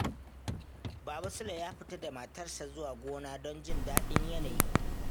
Baba Sule ya fita da matarsa zuwa gona don jin daɗin yanayi.